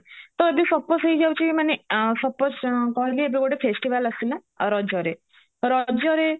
ତ ଏବେ suppose ହେଇଯାଉଚି ମାନେ suppose କହିଲେ ଏବେ ଗୋଟେ festival ଆସିଲା ରଜରେ ରଜରେ